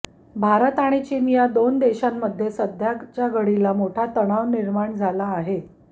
भारत आणि चीन या दोन देशांमध्ये सध्याच्या घडीला मोठा तणाव निर्माण झाला आहे